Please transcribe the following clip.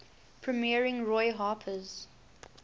premiering roy harper's